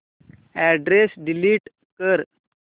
address delete कर